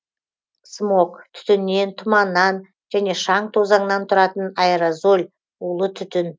смог түтіннен тұманнан және шаң тозаңнан тұратын аэрозоль улы түтін